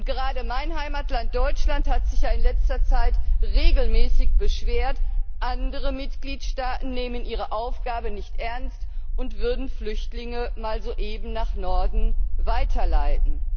Gerade mein Heimatland, Deutschland, hat sich ja in letzter Zeit regelmäßig beschwert, andere Mitgliedstaaten nähmen ihre Aufgabe nicht ernst und würden Flüchtlinge mal so eben nach Norden weiterleiten.